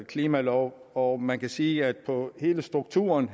klimalov og man kan sige at hele strukturen